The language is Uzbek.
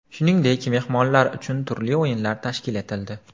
Shuningdek, mehmonlar uchun turli o‘yinlar tashkil etildi.